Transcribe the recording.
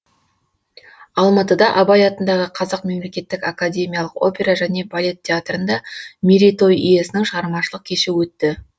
алматыда абай атындағы қазақ мемлекеттік академиялық опера және балет театрында мерейтой иесінің шығармашылық кеші өтті